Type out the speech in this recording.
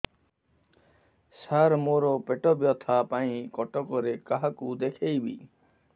ସାର ମୋ ର ପେଟ ବ୍ୟଥା ପାଇଁ କଟକରେ କାହାକୁ ଦେଖେଇବି